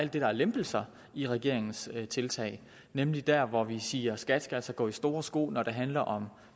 der er lempelser i regeringens tiltag nemlig der hvor vi siger at skat altså skal gå i store sko når det handler om